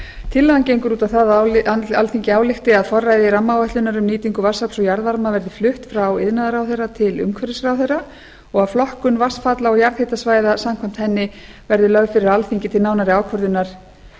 tillagan gengur út á það alþingi álykti að forræði rammaáætlunar um nýtingu vatnsafls og jarðvarma verði flutt frá iðnaðarráðherra til umhverfisráðherra og að flokkun vatnsfalla og jarðhitasvæða samkvæmt henni verði lögð fyrir alþingi til nánari ákvörðunar